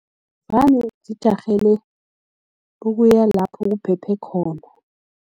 Vane zijarhele ukuya lapho kuphephe khona.